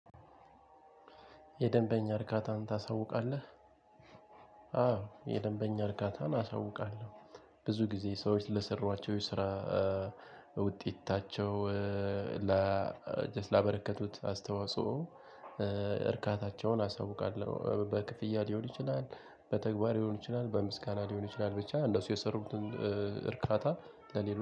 የደንበኛ እርካታን ታሳውቃለህ የደንበኛ እርካታን አሳውቃለው። ብዙ ጊዜ ሰዎች ለሰሯቸው የስራ ውጤታቸው ለ ላበረከቱት አስተዋጽኦ እርካታቸውን አሳውቃለው በክፍያ ሊሆን ይችላል በተግባር ሊሆን ይችላል በምስጋና ሊሆን ይችላል ብቻ እነሱ የሰሩትን እርካታ ለሌሎች